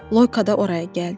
Loyko da oraya gəldi.